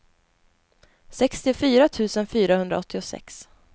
sextiofyra tusen fyrahundraåttiosex